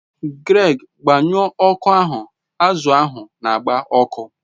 Greg, gbanyuo oku ahu, azu ahu n'agba oku